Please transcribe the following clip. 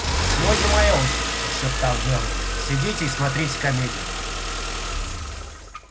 сегодня моя очередь прошептал мэллоу сидите и смотрите комедию